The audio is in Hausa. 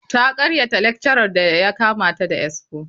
Ta karyata lecturer da ya kama ta da expo.